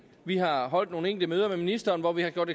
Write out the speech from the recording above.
vi har holdt nogle enkelte møder med ministeren hvor vi har gjort